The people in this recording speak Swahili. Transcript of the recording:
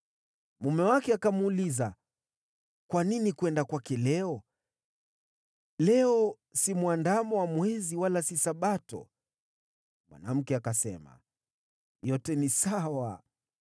Mume wake akamuuliza, “Kwa nini uende kwake leo? Leo si mwandamo wa mwezi, wala si Sabato.” Mwanamke akasema, “Yote ni sawa.”